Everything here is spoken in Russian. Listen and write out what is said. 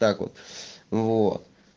так вот вот